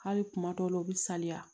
Hali kuma dɔw la u bɛ saliya